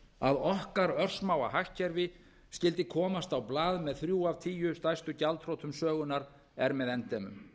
að okkar örsmáa hagkerfi skyldi komast á blað með þrjú af tíu stærstu gjaldþrotum sögunnar er með endemum